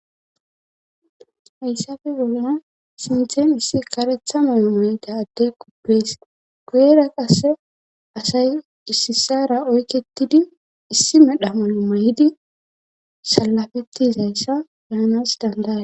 Hayssafe bolna sinthen issi karetha malo mayida addey quppees guyera qasse asay issisara oyketidi issi medha malo may7di salafettizayssa baanas dandaa.